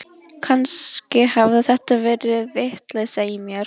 Kannski hafði þetta verið vitleysa í mér.